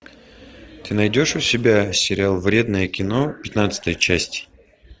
ты найдешь у себя сериал вредное кино пятнадцатая часть